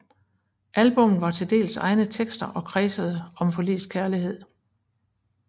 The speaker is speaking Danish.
Albummet var til dels egne tekster og kredsede og forlist kærlighed